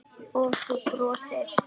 Og þú brosir.